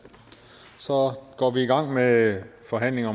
så går vi i gang med forhandlingen